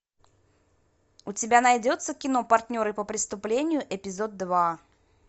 у тебя найдется кино партнеры по преступлению эпизод два